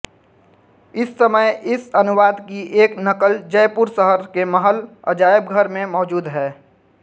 इस समय इस अनुवाद की एक नक़ल जयपुर शहर के महल अजायबघर में मौजूद है